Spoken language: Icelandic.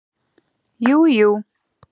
Jú jú